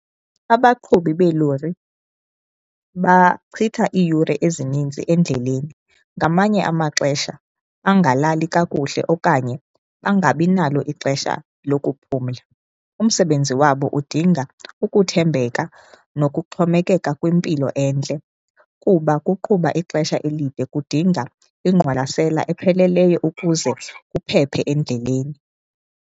Abaqhubi beelori bachitha iiyure ezininzi endleleni ngamanye amaxesha angalali kakuhle okanye angabinalo ixesha lokuphumla. Umsebenzi wabo udinga ukuthembeka nokuxhomekeka kwimpilo entle kuba ukuqhuba ixesha elide kudinga ingqwalasela epheleleyo ukuze uphephe endleleni.